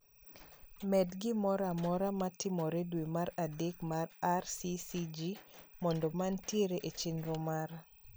Med gimoro amora ma timore dwe mar adek mar rccg mondo mantiere e chenro mara